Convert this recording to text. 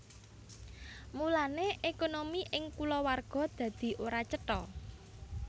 Mulane ékonomi ing kulawarga dadi ora cetha